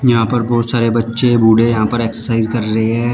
यहां पर बहुत सारे बच्चे बूढ़े यहां पर एक्सरसाइज कर रहे हैं।